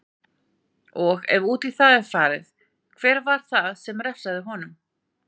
Og, ef út í það er farið, hver var það sem refsaði honum?